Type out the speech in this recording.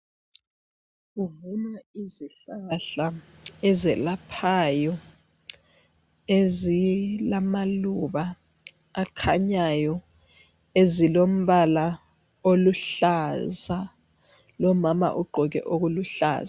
Kuvunwa izihlahla ezelaphayo ezilamaluba akhanyayo ezilombala oluhlaza lomama ugqoke okuluhlaza.